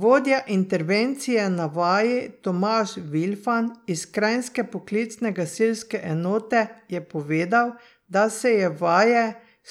Vodja intervencije na vaji Tomaž Vilfan iz kranjske poklicne gasilske enote je povedal, da se je vaje